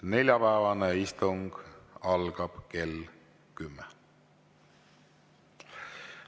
Neljapäevane istung algab kell kümme.